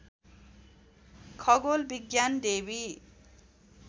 खगोल विज्ञान डेवी